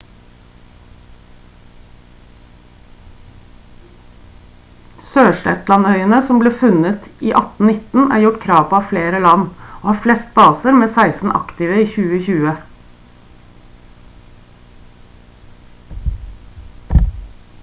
sørshetland-øyene som ble funnet i 1819 er gjort krav på av flere land og har flest baser med 16 aktive i 2020